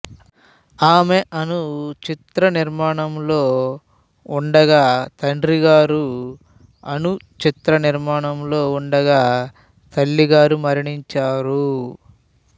ఆమె అను చిత్ర నిర్మాణంలో ఉండగా తండ్రిగారు అను చిత్ర నిర్మాణంలో ఉండగా తల్లిగారు మరణించారు